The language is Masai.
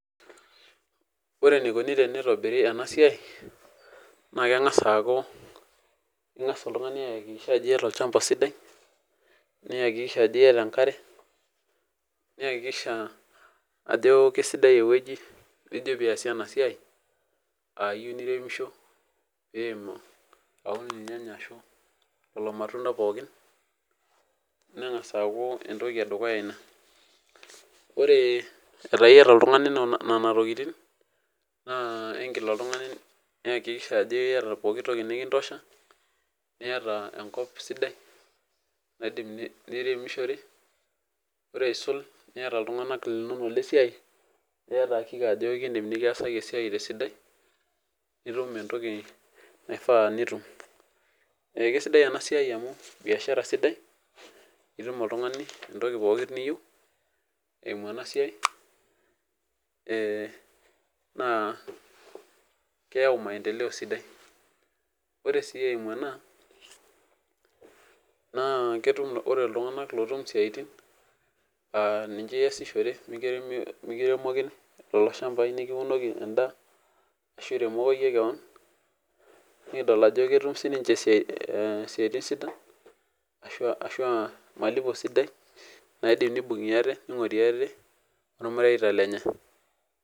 Ore enikoni teneitobiri ena siai, na kengas aaku ingas oltungani aikikisha ajo iyata olchamba sidai, niakikisha ajo iyata enkare, niakikisha ajo kesidai ewueji nijo pee iyasie ena siai, ah ijo pee iremisho pee iun irnyanya arashu lelo matunda pookin nengas aaku etoki edukuya ina. Ore etaa iyata oltungani nena tokitin naa igil oltungani niakikisha ajo iyata poki toki nikitosha niata enkop sidai nidim niremishore ore asisul niata iltunganak linonok le siai, niata hakika ajo keidim nikiasaki esiai te sidai nitum etoki naifaa nitum . Eh kisidai ena esiai amu, biashara sidai nitum oltungani etoki pooki niyieu eimu ena siai eh naa, keyau maendeleo sidai. Ore si eimu ena naa, ketum ore iltunganak lootum isiatin ah ninche iyasishore mikiremokini lelo shambai nikiunoki endaa ashuu iremoko iyie kewon nikidol ajo ketum sininche isiaitin sidan ashu ah malipo sidai naidim nibungie aate niongorie aate ormareita lenye.